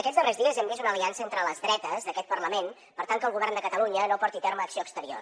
aquests darrers dies hem vist una aliança entre les dretes d’aquest parlament per tal que el govern de catalunya no porti a terme acció exterior